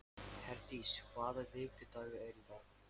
Herdís, hvaða vikudagur er í dag?